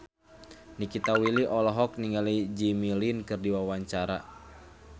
Nikita Willy olohok ningali Jimmy Lin keur diwawancara